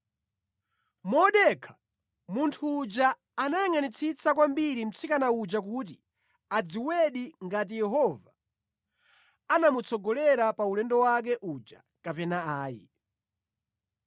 Modekha, munthu uja anayangʼanitsitsa kwambiri mtsikana uja kuti adziwedi ngati Yehova anamutsogolera pa ulendo wake uja kapena ayi.